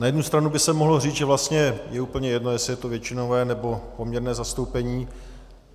Na jednu stranu by se mohlo říct, že vlastně je úplně jedno, jestli je to většinové, nebo poměrné zastoupení.